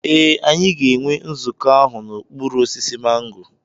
Ee, anyị ga-enwe nzukọ ahụ n'okpuru osisi mango.